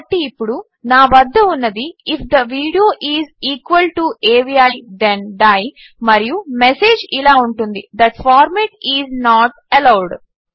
కాబట్టి ఇప్పుడు నా వద్ద ఉన్నది if the video is equal to AVI then die మరియు మెసేజ్ ఇలా ఉంటుంది that format is not allowed